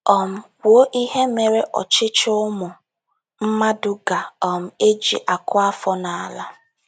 um Kwuo ihe mere ọchịchị ụmụ mmadụ ga um - eji akụ afọ n’ala.